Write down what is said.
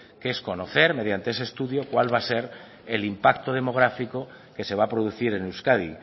que es conocer mediante ese estudio cuál va a ser el impacto demográfico que se va a producir en euskadi